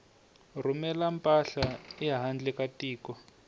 rhumela mpahla ehandle ka tiko